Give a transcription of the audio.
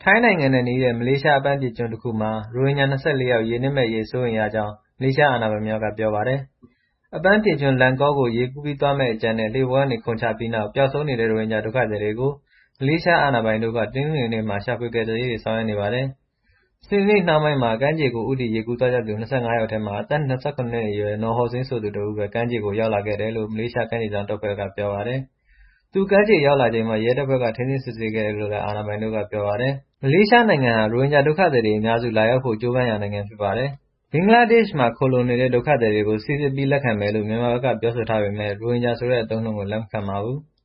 ိုင်းနိုင်ငံနဲ့နီးတဲ့ မလေးရှား အပန်းဖြေကျွန်းတခုမှာ ရိုဟင်ဂျာ ၂၄ ယောက် ရေနစ်မယ့်အရေး စိုးရိမ်ရကြောင်း မလေးရှား အာဏာပိုင်တွေက ပြောပါတယ်။ အပန်းဖြေကျွန်း Langkaw ကို ရေကူးပြီးသွားမယ့် အကြံနဲ့ လှေပေါ်ကနေ ခုန်ချပြီးနောက် ပျောက်ဆုံးနေတဲ့ ရိုဟင်ဂျာ ဒုက္ခသည်တွေကို မလေးရှား အာဏာပိုင်တို့ တနင်္ဂနွေနေ့မှာ ရှာဖွေကယ်ဆယ်ရေး ဆောင်ရွက်နေပါတယ်။ စနေနေ့နှောင်းပိုင်းမှာ ကမ်းခြေကို ဦးတည် ရေကူးသွားကြသူ ၂၅ ယောက်ထဲမှာ အသက် ၂၇ နှစ်အရွယ် Nor Hossain ဆိုသူတဦးပဲ ကမ်းခြေ ရောက်လာခဲ့တယ်လို့ မလေးရှား ကမ်းခြေစောင့်တပ်ဖွဲ့က ပြောပါတယ်။ သူ ကမ်းခြေရောက်လာချိန်မှာ ရဲတပ်ဖွဲ့က ထိန်းသိမ်း စစ်ဆေးခဲ့တယ်လို့လည်း အာဏာပိုင်တို့က ပြောပါတယ်။ မလေးရှားနိုင်ငံဟာ ရိုဟင်ဂျာဒုက္ခသည်တွေ အများစု လာရောက်ဖို့ ကြိုးပမ်းရာနိုင်ငံ ဖြစ်ပါတယ်။ ဘင်္ဂလားဒေ့ရှ်မှာ ခိုလှုံနေတဲ့ ဒုက္ခသည်တွေကို စိစစ်ပြီး လက်ခံမယ်လို့ မြန်မာဘက်က ပြောဆိုထားပေမယ့် ရိုဟင်ဂျာဆိုတဲ့ အသုံးအနှုန်းကို လက်မခံပါဘူး။